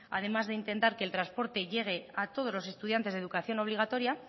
además de intentar que el transporte llegue a todos los estudiantes de educación obligatoria